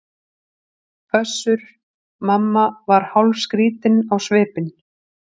Össur-Mamma var hálfskrýtinn á svipinn.